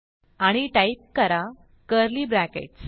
आणि टाईप करा curly brackets